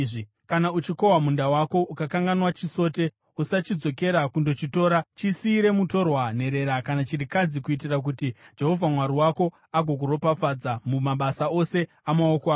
Kana uchikohwa munda wako ukakanganwa chisote, usachidzokera kundochitora. Chisiyire mutorwa, nherera kana chirikadzi, kuitira kuti Jehovha Mwari wako agokuropafadza mumabasa ose amaoko ako.